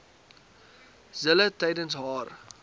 zille tydens haar